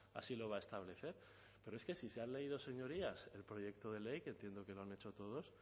así lo va a establecer pero es que si se han leído señorías el proyecto de ley que entiendo que lo han hecho todos